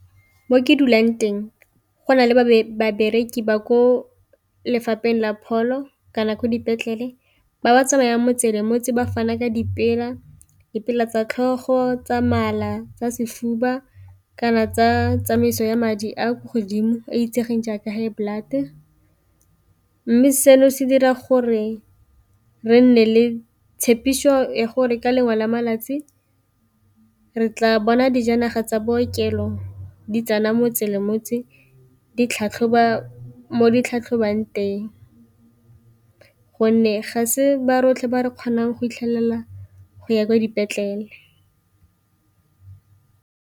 Mo ke dulang teng go na le babereki ba ko lefapheng la pholo kana ko dipetlele ba ba tsamayang motse le motse ba fana ka tsa tlhogo, tsa mala, tsa sefuba kana tsa tsamaiso ya madi a kwa godimo e itsegeng jaaka high blood, mme seno se dira gore re nne le tshepiso ya gore ka lengwe la malatsi re tla bona dijanaga tsa bookelo di tsena motse le motse di tlhatlhoba mo ditlhatlhobang teng, gonne ga se ba rotlhe re kgonang go itlhelela go ya kwa dipetlele.